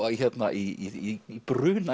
í